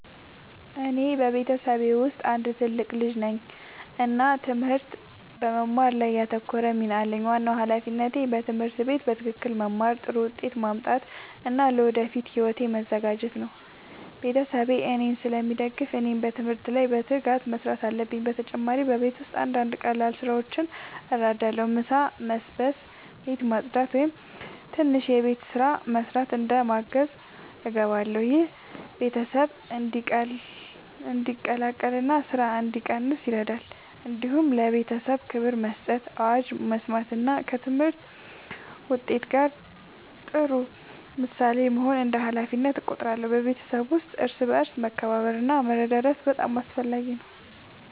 እኔ በቤተሰቤ ውስጥ አንድ ትልቅ ልጅ ነኝ እና ትምህርት በመማር ላይ ያተኮረ ሚና አለኝ። ዋናው ሃላፊነቴ በትምህርት ቤት በትክክል መማር፣ ጥሩ ውጤት ማምጣት እና ለወደፊት ሕይወቴ መዘጋጀት ነው። ቤተሰቤ እኔን ስለሚደግፉ እኔም በትምህርት ላይ በትጋት መስራት አለብኝ። በተጨማሪ በቤት ውስጥ አንዳንድ ቀላል ስራዎችን እረዳለሁ። ምሳ መስበስ፣ ቤት ማጽዳት ወይም ትንሽ የቤት ስራ መስራት እንደ ማገዝ እገባለሁ። ይህ ቤተሰብ እንዲቀላቀል እና ስራ እንዲቀንስ ይረዳል። እንዲሁም ለቤተሰቤ ክብር መስጠት፣ አዋጅ መስማት እና ከትምህርት ውጤት ጋር ጥሩ ምሳሌ መሆን እንደ ሃላፊነቴ እቆጥራለሁ። በቤተሰብ ውስጥ እርስ በርስ መከባበር እና መረዳዳት በጣም አስፈላጊ ነው።